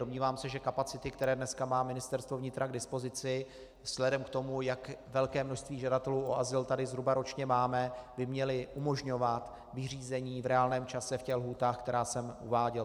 Domnívám se, že kapacity, které dneska má Ministerstvo vnitra k dispozici vzhledem k tomu, jak velké množství žadatelů o azyl tady zhruba ročně máme, by měly umožňovat vyřízení v reálném čase v těch lhůtách, které jsem uváděl.